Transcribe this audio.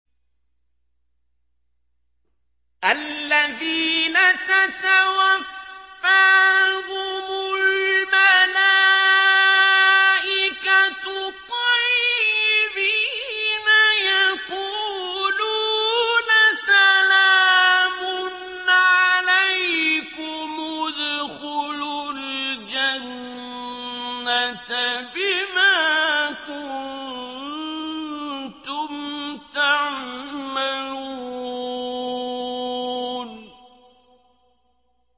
الَّذِينَ تَتَوَفَّاهُمُ الْمَلَائِكَةُ طَيِّبِينَ ۙ يَقُولُونَ سَلَامٌ عَلَيْكُمُ ادْخُلُوا الْجَنَّةَ بِمَا كُنتُمْ تَعْمَلُونَ